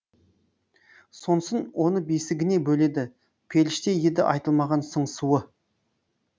сонсын оны бесігіне бөледі періште еді айтылмаған сыңсуы